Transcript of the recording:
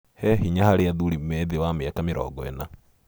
He hinya harĩ athuri mĩ thĩ wa mĩaka mĩrongo ĩna.